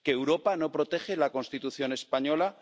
¿Que Europa no protege la Constitución española?